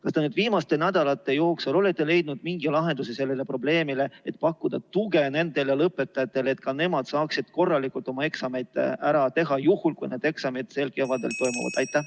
Kas te nüüd viimaste nädalate jooksul olete leidnud mingi lahenduse sellele probleemile, et pakkuda tuge nendele lõpetajatele, et ka nemad saaksid korralikult oma eksamid ära teha juhul, kui need eksamid sel kevadel toimuvad?